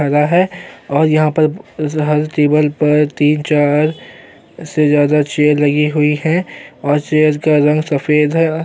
पर लगा है और यहाँ पर इस लाल टेबल पर तीन चार से ज़्यादा चेयर लगी हुई है और चेयर्स का रंग सफ़ेद है।